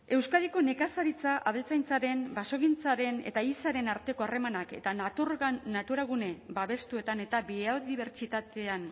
euskadiko nekazaritza abeltzaintzaren basogintzaren eta ehizaren arteko harremanak eta naturagune babestuetan eta biodibertsitatean